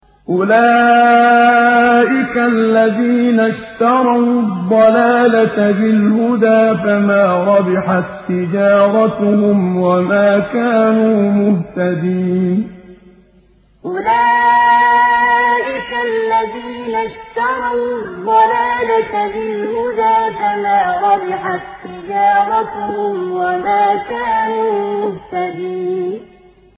أُولَٰئِكَ الَّذِينَ اشْتَرَوُا الضَّلَالَةَ بِالْهُدَىٰ فَمَا رَبِحَت تِّجَارَتُهُمْ وَمَا كَانُوا مُهْتَدِينَ أُولَٰئِكَ الَّذِينَ اشْتَرَوُا الضَّلَالَةَ بِالْهُدَىٰ فَمَا رَبِحَت تِّجَارَتُهُمْ وَمَا كَانُوا مُهْتَدِينَ